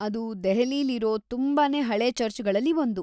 ಅದು ದೆಹಲಿಲಿರೋ ತುಂಬಾನೇ ಹಳೇ ಚರ್ಚ್‌ಗಳಲ್ಲಿ ಒಂದು.